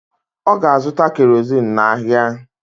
Ọ ga-azụta kerozin n’ahịa.